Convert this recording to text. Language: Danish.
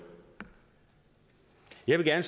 jeg gerne